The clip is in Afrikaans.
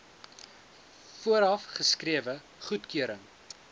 vooraf geskrewe goedkeuring